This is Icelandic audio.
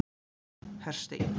Hersteinn